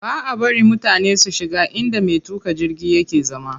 Baʼa bari mutane su shiga inda me tuƙa jirgi yake zama.